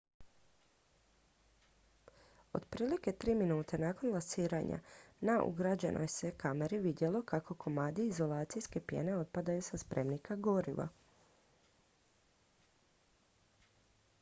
otprilike 3 minute nakon lansiranja na ugrađenoj se kameri vidjelo kako komadi izolacijske pjene otpadaju sa spremnika goriva